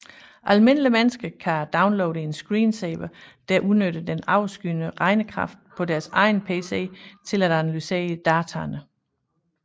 Almindelige mennesker kan downloade en screensaver der udnytter overskydende regnekraft på deres egen pc til at analysere dataene